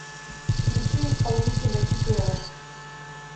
включи исполнителя кипелов